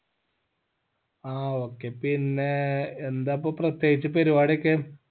ആ okay പിന്നെ ഏർ എന്താ ഇപ്പോ പ്രത്യേകിച് പരിപാടി ഒക്കെ